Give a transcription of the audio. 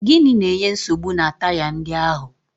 Gịnị na-enye nsogbu na taya ndị ahụ?